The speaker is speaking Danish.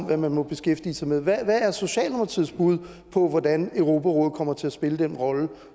hvad man må beskæftige sig med hvad er socialdemokratiets bud på hvordan europarådet kommer til at spille den rolle